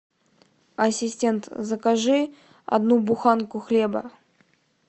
ассистент закажи одну буханку хлеба